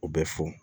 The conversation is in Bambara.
U bɛ fo